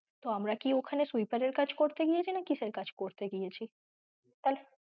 তো আমরা ওখানে sweeper এর কাজ করতে গেছি না কিসের কাজ করতে গেছি?